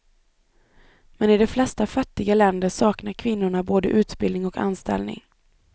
Men i de flesta fattiga länder saknar kvinnorna både utbildning och anställning.